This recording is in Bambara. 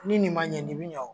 Ni nin ma ɲɛ ni mi ɲɛ wo.